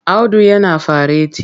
Audu yana fareti.